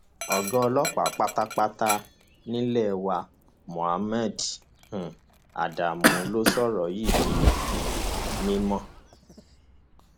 ọgá ọlọpàá pátápátá nílé wa muhammed um adamu ló sọrọ yìí di um mímọ